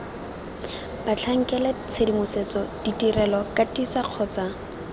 batlhankela tshedimosetso ditirelo katiso kgotsa